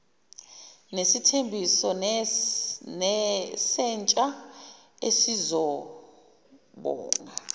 nesithembiso sentsha esizobonga